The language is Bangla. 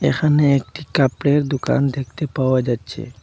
এখানে একটি কাপড়ের দোকান দেখতে পাওয়া যাচ্ছে।